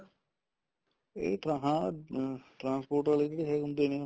ਇਹ ਹਾਂ ਆਹ transport ਆਲੇ ਜਿਹੜੇ ਹੁੰਦੇ ਨੇ